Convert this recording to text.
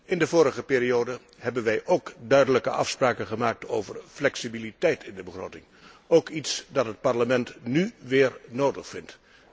In de vorige periode hebben wij ook duidelijke afspraken gemaakt over flexibiliteit in de begroting, iets dat het Parlement nu ook weer nodig vindt.